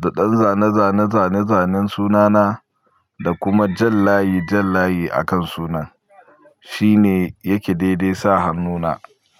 da ɗan zane-zane-zane-zanen sunana, da kuma jan layi-jan layi a kan sunan. Shi ne yake daidai sa hannu na.